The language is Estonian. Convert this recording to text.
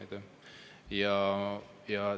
Aitäh!